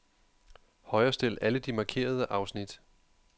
Højrestil alle de markerede afsnit.